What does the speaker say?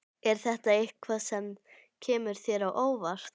Er það eitthvað sem kemur þér á óvart?